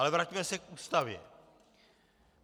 Ale vraťme se k Ústavě.